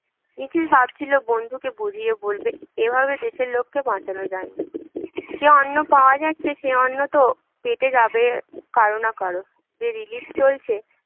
নিখিল ভেবেছিল বন্ধুকে বুঝিয়ে বলবে, এভাবে দেশের লোককে বাঁচানো যায় না যে অন্ন পাওয়া যাচ্ছে সে অন্ন তো পেটে যাবেই কারো না কারো যে relief চলছে